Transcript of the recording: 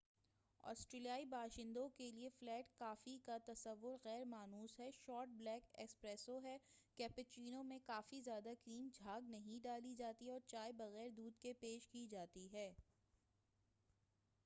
آسٹریلیائی باشندوں کیلئے flat coffee کا تصور غیر مانوس ہے۔ شارٹ بلیک 'اسپریسو' ہے، کیپوچینو میں کافی زیادہ کریم جھاگ نہیں ڈالی جاتی ہے، اور چائے بغیر دودھ کے پیش کی جاتی ہے۔